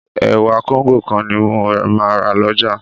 Ẹ̀wà Kóńgò kan ni mo máa rà lọ́jà